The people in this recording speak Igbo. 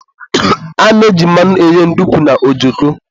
a na-eji mmanụ eghe ndukwu na ojoko